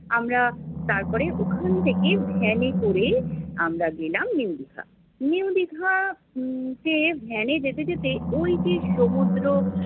আমরা তারপরে ওখান থেকে van এ করে আমরা গেলাম new দীঘা। new দীঘা উম তে van এ যেতে যেতে ওইযে সমুদ্র